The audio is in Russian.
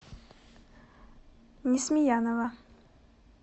несмеянова